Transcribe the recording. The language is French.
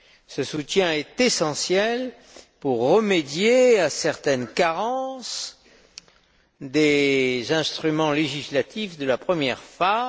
Ce soutien est essentiel si l'on veut remédier à certaines carences des instruments législatifs de la première phase.